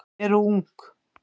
eru ung.